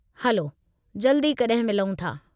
हलो जल्दु ई कॾहिं मिलूं था।